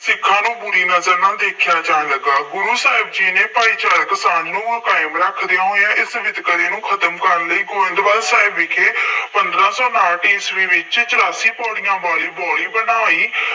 ਸਿੱਖਾਂ ਨੂੰ ਬੁਰੀ ਨਜ਼ਰ ਨਾਲ ਦੇਖਿਆ ਜਾਣ ਲੱਗਾ। ਗੁਰੂ ਸਾਹਿਬ ਜੀ ਨੇ ਭਾਈ ਸਾਨੂੰ ਕਾਇਮ ਰੱਖਦਿਆਂ ਹੋਇਆਂ, ਇਸ ਵਿਤਕਰੇ ਨੂੰ ਖਤਮ ਕਰਨ ਲਈ ਗੋਇੰਦਵਾਲ ਸਾਹਿਬ ਵਿਖੇ ਪੰਦਰਾ ਸੌ ਉਨਾਹਠ ਈਸਵੀ ਵਿੱਚ ਚੁਰਾਸੀ ਪੌੜੀਆਂ ਵਾਲੀ ਬਾਊਲੀ ਬਣਾਈ।